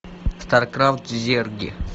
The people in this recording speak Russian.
старкрафт зерги